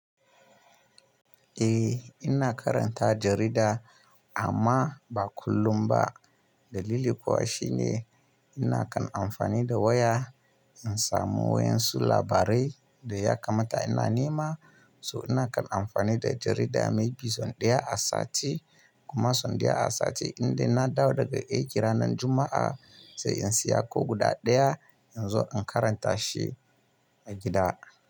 Eh ina karanta jarida amma ba kullum ba. Dalili kuwa shine ina kan amfani da waya in samu wayan su labarai da ya kamata ina nema. So ina kan amfani da jarida mai bi, son ɗaya a sati kuma son ɗaya a sati. Inda na dawo daga aiki ranar Juma'a sai in siya ko guda ɗaya in zo in karanta shi a gida.